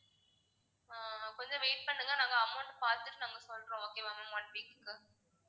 ஆஹ் கொஞ்சம் wait பண்ணுங்க நாங்க amount பாத்துட்டு நாங்க சொல்றோம் okay வா ma'am one week க்கு